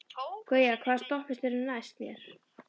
Gauja, hvaða stoppistöð er næst mér?